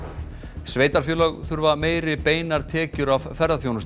sveitarfélög þurfa meiri beinar tekjur af ferðaþjónustu